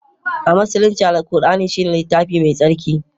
a Musulunci, Alkur'ani shine littafinsu mai tsarki